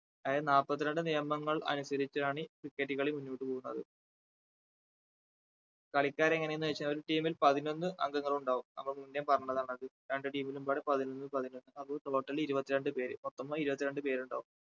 അതായത് നാപ്പത്തി രണ്ട്‍ നിയമനങ്ങൾ അനുസരിച്ചാണ് cricket കളി മുന്നോട്ട് പോവുന്നത് കളിക്കാർ എങ്ങനെയെന്ന് വെച്ചാ ഒരു team ൽ പതിനൊന്ന് അംഗങ്ങൾ ഉണ്ടാവും അത് മുന്നേ പറഞ്ഞതാണ് അത് രണ്ടു team ലും പാടെ പതിനൊന്ന് പതിനൊന്ന് അപ്പൊ total ഇരുപത്തി രണ്ട് പേര് മൊത്തം ഇരുപത്തി രണ്ടു പേരുണ്ടാവും